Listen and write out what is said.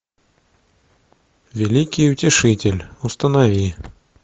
великий утешитель установи